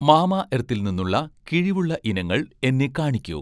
mama എർത്തിൽ നിന്നുള്ള കിഴിവുള്ള ഇനങ്ങൾ എന്നെ കാണിക്കൂ